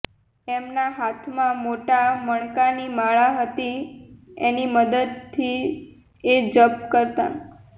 એમના હાથમાં મોટા મણકાની માળા હતી એની મદદથી એ જપ કરતા